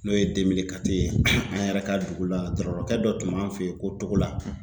N'o ye ye an yɛrɛ ka dugu la dɔrɔɔkɛ dɔ tun b'an fe yen ko Togola